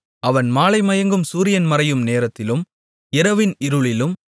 அவன் மாலைமயங்கும் சூரியன் மறையும் நேரத்திலும் இரவின் இருளிலும்